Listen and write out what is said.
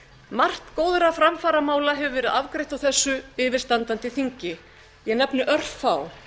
margt góðra framfaramála hefur verið afgreitt á þessu yfirstandandi þingi ég nefni örfá